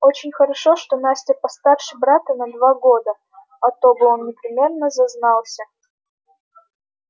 очень хорошо что настя постарше брата на два года а то бы он непременно зазнался